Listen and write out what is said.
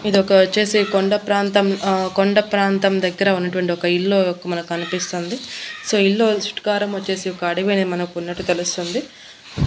ఇదొక వచ్చేసి కొండ ప్రాంతం ఆ కొండ ప్రాంతం దగ్గర ఉన్నటువంటి ఒక ఇల్లు మనకు కనిపిస్తోంది సో ఇల్లు చుట్టు కారం వచ్చేసి ఒక అడవి అనేది మనకు ఉన్నట్టు తెలుస్తుంది.